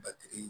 Batigi